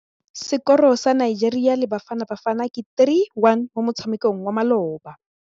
Sekôrô sa Nigeria le Bafanabafana ke 3-1 mo motshamekong wa malôba.